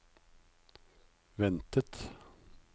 ventet